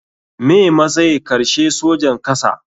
Me matsay karshe sojan kasa.